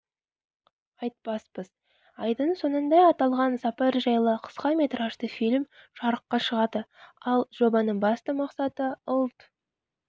айтпаспыз айдың соңында аталған сапар жайлы қысқаметражды фильм жарыққа шығады ал жобаның басты мақсаты ұлт